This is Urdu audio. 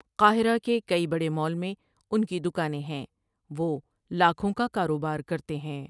قاہرہ کے کئی بڑے مال میں ان کی دکانیں ہیں وہ لاکھوں کا کاروبار کرتے ہیں ۔